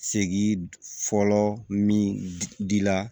Segi fɔlɔ min dila